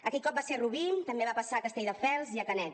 aquell cop va ser a rubí també va passar a castelldefels i a canet